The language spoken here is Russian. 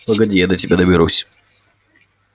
погоди я до тебя доберусь